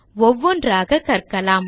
ஒவ்வொன்றாக கற்கலாம்